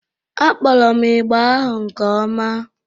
Akpọrọ m ịgbà ahụ nke ọma